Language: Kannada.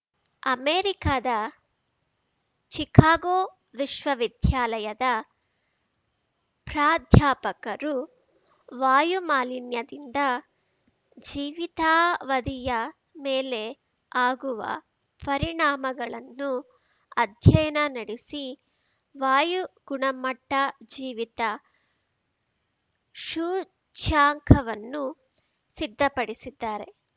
ಅಮೆರಿಕದ ಶಿಕಾಗೋ ವಿಶ್ವವಿದ್ಯಾಲಯದ ಪ್ರಾಧ್ಯಾಪಕರು ವಾಯು ಮಾಲಿನ್ಯದಿಂದ ಜೀವಿತಾವಧಿಯ ಮೇಲೆ ಆಗುವ ಪರಿಣಾಮಗಳನ್ನು ಅಧ್ಯಯನ ನಡೆಸಿ ವಾಯು ಗುಣಮಟ್ಟಜೀವಿತ ಸೂಚ್ಯಂಕವನ್ನು ಸಿದ್ಧಪಡಿಸಿದ್ದಾರೆ